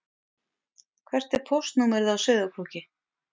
Hvert er póstnúmerið á Sauðárkróki?